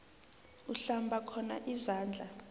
uhlamba khona izandla